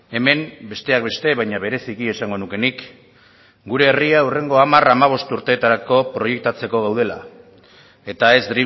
hemen besteak beste baina bereziki esango nuke nik gure herria hurrengo hamar hamabost urtetarako proiektatzeko gaudela eta ez